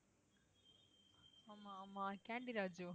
ஆமா ஆமா கேண்டி ராஜு